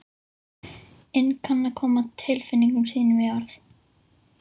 inn kann að koma tilfinningum sínum í orð.